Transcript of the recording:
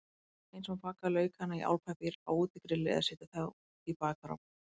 Eins má baka laukana í álpappír á útigrilli eða setja þá í bakarofninn.